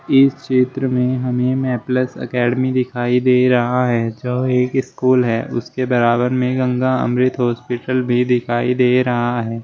इस चित्र मे हमें मेपलस एकेडमी दिखाई दे रहा है जो एक स्कूल है उसके बराबर में गंगा अमृत हॉस्पिटल भी दिखाई दे रहा है।